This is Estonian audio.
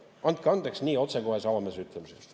Andke andeks nii otsekohese, avameelse ütlemise eest.